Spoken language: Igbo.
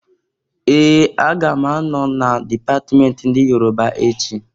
Ee! Aga m anọ na dipatment ndị Yoroba echi.